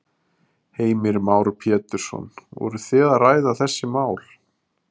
Heimir Már Pétursson: Voru þið að ræða þessi mál?